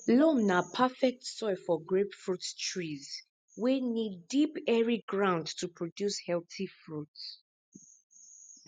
loam na perfect soil for grapefruit trees wey need deep airy ground to produce healthy fruit